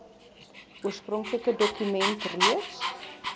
oorspronklike dokument reeds